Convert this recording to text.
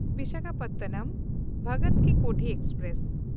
ᱵᱤᱥᱟᱠᱷᱟᱯᱚᱴᱱᱚᱢ–ᱵᱷᱚᱜᱚᱛ ᱠᱤ ᱠᱳᱴᱷᱤ ᱮᱠᱥᱯᱨᱮᱥ